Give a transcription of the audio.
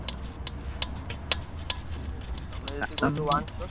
ବୁଝୁଛନା ତମେ ଯଦି OnePlus Samsung OnePlus ।